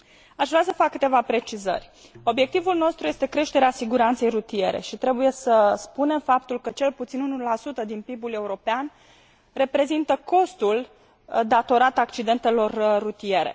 Aș vrea să fac câteva precizări obiectivul nostru este creșterea siguranței rutiere și trebuie să spunem faptul că cel puțin 1 din PIB ul european reprezintă costul datorat accidentelor rutiere.